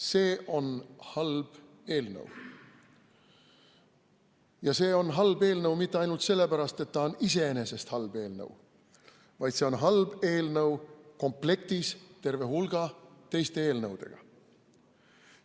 See on halb eelnõu – halb mitte ainult sellepärast, et see on iseenesest halb eelnõu, vaid see on halb eelnõu komplektis terve hulga teiste eelnõudega.